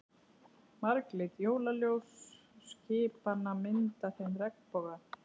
Marglit jólaljós skipanna mynda þeim regnboga.